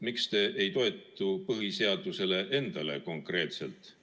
Miks te ei toetu konkreetselt põhiseadusele endale?